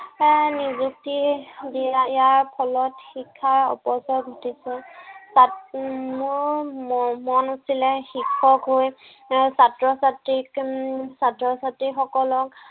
এৰ নিযুক্তি দিয়াৰ ইয়াৰ ফলত শিক্ষাৰ অপচয় ঘটিছে। তাত মোৰ মন আছিলে শিক্ষক হৈ এৰ ছাত্ৰ-ছাত্ৰীক উম ছাত্ৰ-ছাত্ৰীসকলক